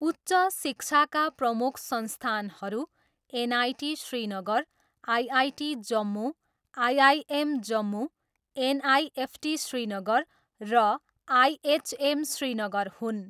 उच्च शिक्षाका प्रमुख संस्थानहरू NIT Srinagar, IIT Jammu, IIM Jammu, NIFT Srinagar र आइएचएम श्रीनगर हुन्।